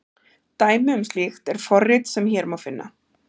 Dæmi um slíkt er forrit sem hér má finna.